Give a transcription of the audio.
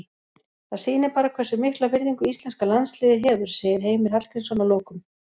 Það sýnir bara hversu mikla virðingu íslenska landsliðið hefur, segir Heimir Hallgrímsson að lokum.